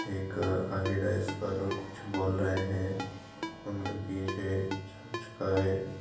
एक आगे डाइस पर कुछ बोल रहे है उनके पीछे चर्च का है।